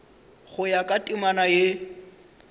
go ya ka temana ye